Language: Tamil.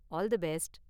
All the best!